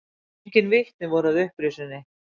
Engin vitni voru að upprisunni.